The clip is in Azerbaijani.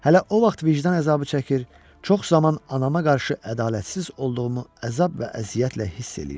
Hələ o vaxt vicdan əzabı çəkir, çox zaman anama qarşı ədalətsiz olduğumu əzab və əziyyətlə hiss eləyirdim.